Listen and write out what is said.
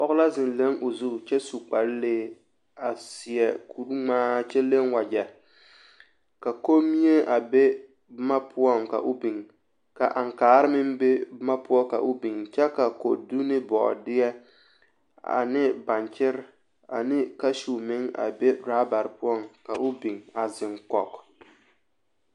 Pɔge la zeŋ leŋ o zu kyɛ su kparelee a seɛ kuri ŋmaa kyɛ leŋ wagyɛ, ka kommie a be boma poɔŋ ka o biŋ ka aŋkaare meŋ be boma poɔ ka o biŋ kyɛ ka kodu ne bɔɔdeɛ ane baŋkyere ane kasuo meŋ be rabare poɔŋ ka o biŋ a zeŋ kɔge.